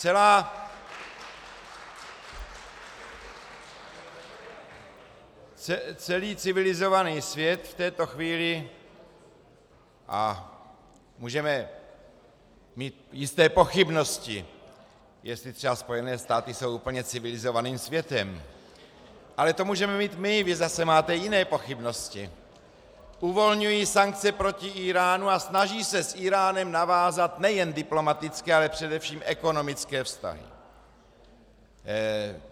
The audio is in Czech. Celý civilizovaný svět v této chvíli, a můžeme mít jisté pochybnosti, jestli třeba Spojené státy jsou úplně civilizovaným světem, ale to můžeme mít my, vy zase máte jiné pochybnosti, uvolňují sankce proti Íránu a snaží se s Íránem navázat nejen diplomatické, ale především ekonomické vztahy.